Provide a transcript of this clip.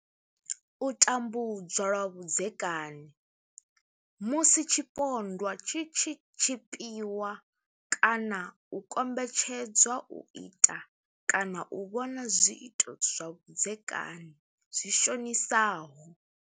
U tambudzwa lwa vhudzekani, Musi tshipondwa tshi tshi tshipiwa kana u kombetshedzwa u ita kana u vhona zwiito zwa vhudzekani zwi shonisaho.